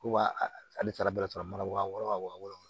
Ko wa ale taara bɛrɛ sɔrɔ mana wa wɔɔrɔ wa wɔɔrɔ